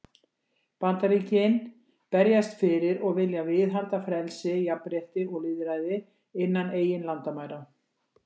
Bandaríkin berjast fyrir og vilja viðhalda frelsi, jafnrétti og lýðræði innan eigin landamæra.